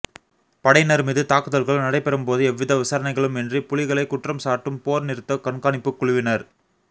படையினர் மீது தாக்குதல்கள் நடைபெறும்போது எவ்வித விசாரணைகளுமின்றி புலிகளை குற்றம் சாட்டும் போர் நிறுத்தக் கண்காணிப்புக் குழுவினர்